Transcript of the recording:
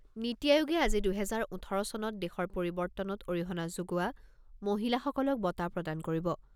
নিটি আয়োগে আজি দুহেজাৰ ওঠৰ চনত দেশৰ পৰিৱৰ্তনত অৰিহণা যোগোৱা মহিলাসকলক বঁটা প্ৰদান কৰিব।